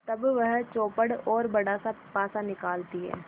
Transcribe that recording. तब वह चौपड़ और बड़ासा पासा निकालती है